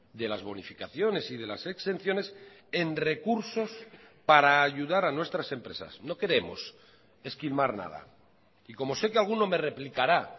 de las bonificaciones y de las exenciones en recursos para ayudar a nuestras empresas no queremos esquimar nada y como sé que alguno me replicará